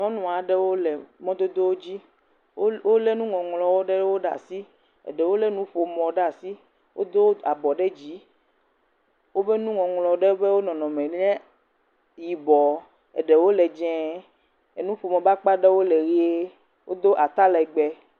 Nyɔnu aɖewo le mɔdododzi. Wolé nuŋɔŋlɔwo ɖewo ɖe asi. Eɖewo lé nuƒomɔwo ɖe asi, wodo abɔ ɖe dzii, woƒe nuŋɔŋlɔ ɖewo ƒe nɔnɔme nye yibɔɔ, eɖewo le dzẽe, enuƒomɔ ƒe akpa ɖewo le ʋie, wodo atalɛgbɛ.